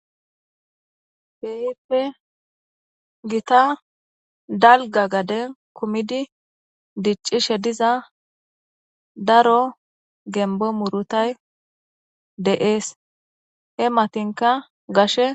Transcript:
heehife gita dalga gade kumidi diccishe diza daro gembo murutay de7ees he matinka gashe